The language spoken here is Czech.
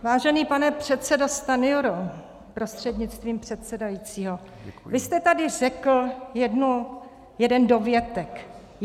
Vážený pane předsedo Stanjuro prostřednictvím předsedajícího, vy jste tady řekl jeden dovětek.